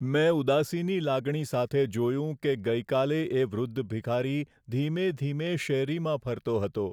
મેં ઉદાસીની લાગણી સાથે જોયું કે ગઈકાલે એ વૃદ્ધ ભિખારી ધીમે ધીમે શેરીમાં ફરતો હતો.